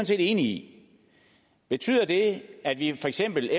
set enig i betyder det at at vi for eksempel